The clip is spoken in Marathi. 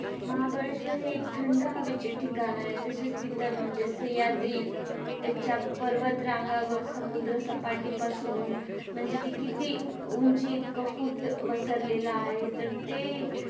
महाबळेश्वर हे थंड हवेचे ठिकाण आहे. तसेच तिथलं म्हणजे सह्याद्रीच्या पर्वत रांगावर समुद्रसपाटीपासून म्हणजे ते किती उंची इतकं फूट वसरलेलं आहे तर ते